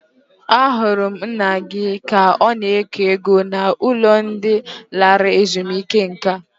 Ahụrụ m nna gị ka ọ na-eke ego n'ụlọ ndị lara ezumike nka.